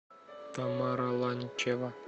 тамара ланчева